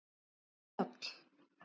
Njáll